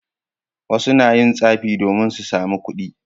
Wasu na yin tsafi domin su sami kuɗi.